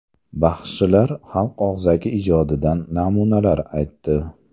Baxshilar xalq og‘zaki ijodidan namunalar aytdi.